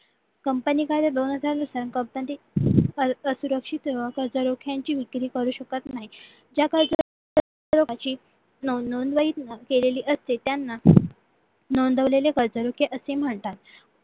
company एखाद्या असुरक्षित जेव्हा कर्जरोख्यांची विक्री करू शकत नाही नोंदवहीत केलेली असते त्यांना नोंदवलेले कर्जरोखी असे म्हणतात